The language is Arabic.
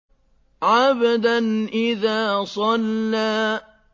عَبْدًا إِذَا صَلَّىٰ